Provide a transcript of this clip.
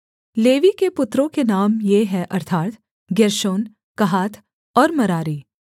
levy के पुत्रों के नाम ये हैं अर्थात् गेर्शोन कहात और मरारी